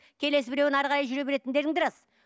келесі біреуін әрі қарай жүре беретіндерің де рас